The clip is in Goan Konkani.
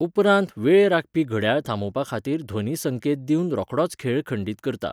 उपरांत वेळ राखपी घड्याळ थांबोवपा खातीर ध्वनी संकेत दिवन रोखडोच खेळ खंडीत करता.